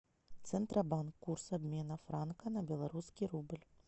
центробанк курс обмена франка на белорусский рубль